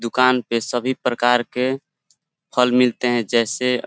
दुकान पे सभी प्रकार के फल मिलते हैं जैसे --